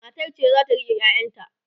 matar ce zata rike ƴaƴan ta